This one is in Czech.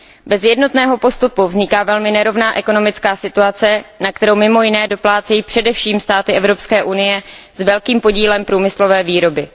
Bez jednotného postupu vzniká velmi nerovná ekonomická situace, na kterou mimo jiné doplácejí především státy Evropské unie s velkým podílem průmyslové výroby.